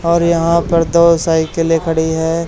और यहाँपर दो साइकिलें खड़ी हैं।